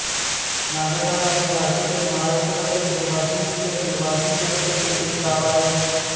नागठाणा हे भारतातील महाराष्ट्र राज्यातील वाशिम जिल्ह्यातील वाशीम तालुक्यातील एक गाव आहे